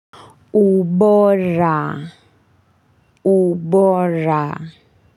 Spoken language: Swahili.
Ubora, ubora.